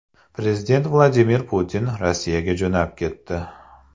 Prezident Vladimir Putin Rossiyaga jo‘nab ketdi.